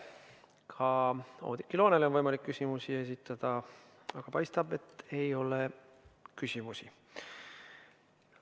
Ka Oudekki Loonele on võimalik küsimusi esitada, aga paistab, et ei ole küsimusi.